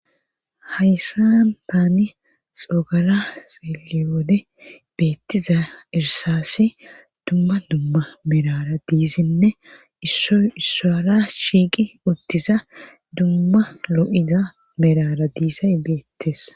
Hayssa taani xoogara seeli wode beettiza irsassi dumma dumma merara diisinne issoy issora shiiqi uttiza dumma lo'iza merara diisay beettes.